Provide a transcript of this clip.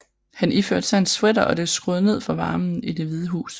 Han iførte sig en sweater og skruede ned for varmen i Det Hvide Hus